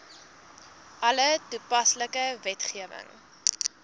alle toepaslike wetgewing